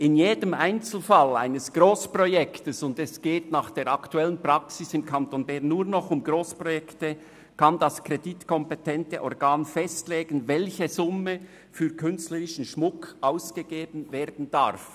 In jedem Einzelfall eines Grossprojekts – und es geht nach der aktuellen Praxis im Kanton Bern nur noch um Grossprojekte – kann das kreditkompetente Organ festlegen, welche Summe für künstlerischen Schmuck ausgegeben werden darf.